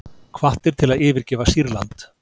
Hvattir til að yfirgefa Sýrland